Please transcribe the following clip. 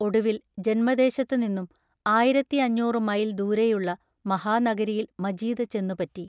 ഒടുവിൽ ജന്മദേശത്തുനിന്നും ആയിരത്തിയഞ്ഞൂറു മൈൽ ദൂരെയുള്ള മഹാനഗരിയിൽ മജീദ് ചെന്നുപറ്റി.